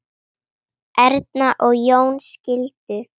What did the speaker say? Erna og Jón skildu.